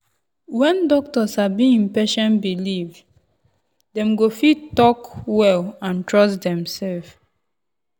when doctor sabi en patient belief dem go fit talk well and trust demself.